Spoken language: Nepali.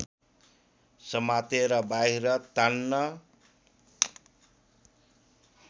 समातेर बाहिर तान्न